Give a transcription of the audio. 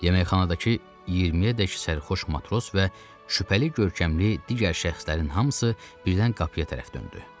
Yeməkxanadakı 20-yədək sərxoş matros və şübhəli görkəmli digər şəxslərin hamısı birdən qapıya tərəf döndü.